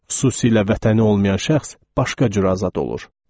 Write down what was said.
Xüsusilə vətəni olmayan şəxs başqa cür azad olur.